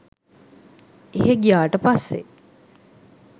එහෙ ගියාට පස්සේ